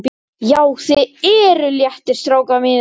JÁ, ÞIÐ ERUÐ LÉTTIR, STRÁKAR MÍNIR!